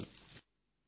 ధన్యవాదాలు